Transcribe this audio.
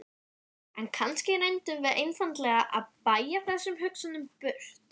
En kannski reyndum við einfaldlega að bægja þessum hugsunum burt.